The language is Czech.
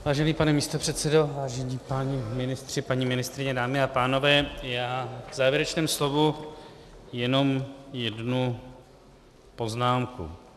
Vážený pane místopředsedo, vážení páni ministři, paní ministryně, dámy a pánové, já v závěrečném slovu jenom jednu poznámku.